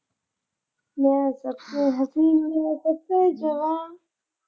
ਮੈਂ ਸਭ ਸੇ ਹਸੀਨ ਮੈਂ ਸਭ ਸੇ ਜਵਾਂ।